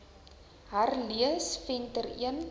herlees venter l